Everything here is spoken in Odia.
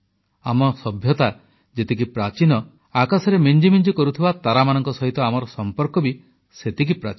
ଆମ ସଭ୍ୟତା ଯେତିକି ପ୍ରାଚୀନ ଆକାଶରେ ମିଞ୍ଜି ମିଞ୍ଜି କରୁଥିବା ତାରାମାନଙ୍କ ସହିତ ଆମର ସମ୍ପର୍କ ବି ସେତିକି ପ୍ରାଚୀନ